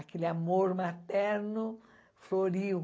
Aquele amor materno floriu.